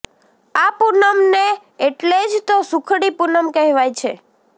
આ પૂનમ ને એટલેજ તો સુખડી પૂનમ કહેવાય છે